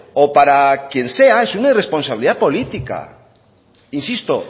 o para quien sea es una responsabilidad política insisto